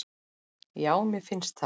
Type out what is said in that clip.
Já, mér finnst það.